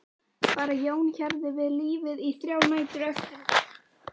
Bara Jón hjarði við lífið í þrjár nætur eftir þetta.